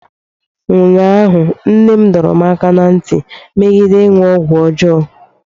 ụnyahụ, Nna m dọrọ m aka ná ntị megide ịṅụ ọgwụ ọjọọ